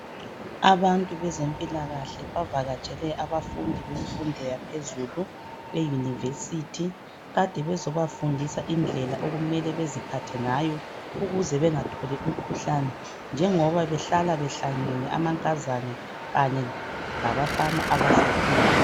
abantu bezempilakahle bavakatshele abantu bemfundo yaphezulu e university kade bezobafundisa indlela okumele beziphathe ngayo ukuze bengatholi umkhuhlane njengoba behlala behlangene amankazana labafana abasakhulayo